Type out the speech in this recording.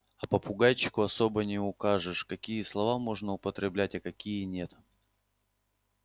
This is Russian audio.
а попугайчику особо не укажешь какие слова можно употреблять а какие нет